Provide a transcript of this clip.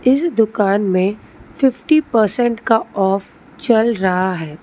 इस दुकान में फिप्टी पर्सेंटेज का ऑफ चल रहा है।